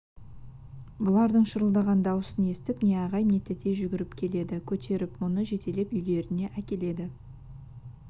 бұлардың шырылдаған дауысын естіп не ағай не тәтей жүгіріп келеді көтеріп мұны жетелеп үйлеріне әкеледі